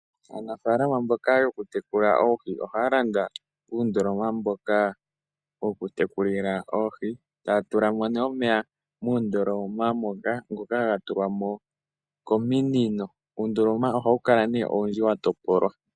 Aanafaalama mboka yoku tekula oohi ohaya landa uundoloma mboka woku tekulila oohi, taya tulamo nduno omeya muundoloma moka, ngoka ga tulwa mo kominino. Uundoloma ohawu kala owundji wa topolwa.